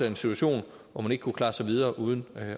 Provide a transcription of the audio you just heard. en situation hvor man ikke kunne klare sig videre uden